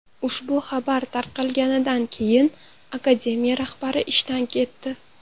Ushbu xabar tarqalganidan keyin akademiya rahbari ishdan ketdi.